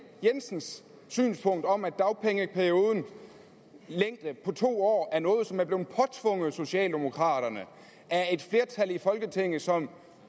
jensens synspunkt om at dagpengeperiodens længde på to år er noget som er blevet påtvunget socialdemokraterne af et flertal i folketinget og som